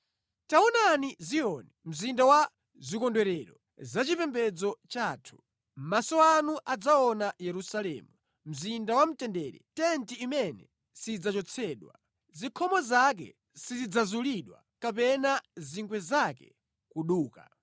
Taonani Ziyoni, mzinda wa zikondwerero zachipembedzo chathu; maso anu adzaona Yerusalemu, mzinda wamtendere, tenti imene sidzachotsedwa, zikhomo zake sizidzazulidwa, kapena zingwe zake kuduka.